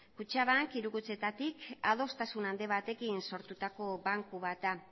kutxabank hiru kutxetatik adostasun handi batekin sortutako banku bat da